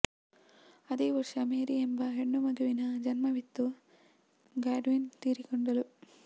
ಅದೇ ವರ್ಷ ಮೇರಿ ಎಂಬ ಹೆಣ್ಣು ಮಗುವಿಗೆ ಜನ್ಮವಿತ್ತು ಗಾಡ್ವಿನ್ ತೀರಿಕೊಂಡಳು